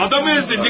Adamı əzdin!